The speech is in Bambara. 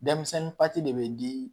Denmisɛnnin de bɛ di